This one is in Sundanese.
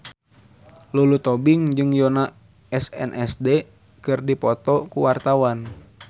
Lulu Tobing jeung Yoona SNSD keur dipoto ku wartawan